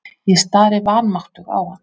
Ég stari vanmáttug á hann.